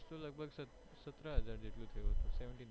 શું લગભગ સત સતરા હજાર જેટલું થયું હસે seventeen